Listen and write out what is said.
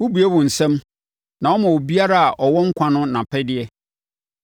Wobue wo nsam na woma biribiara a ɛwɔ nkwa no nʼapɛdeɛ.